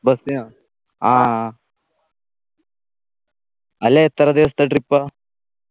bus നോ ആ അല്ല എത്ര ദിവസത്തെ trip ആ